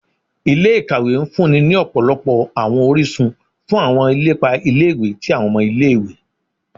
Ilé-ìkàwé ń fúnni ní ọ̀pọ̀lọpọ̀ àwọn orísun fún àwọn ilepa ilé-ìwé tí àwọn ọmọ ilé-ìwé